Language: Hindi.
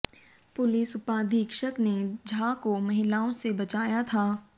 पुलिस उपाधीक्षक ने झा को महिलाओं से बचाया था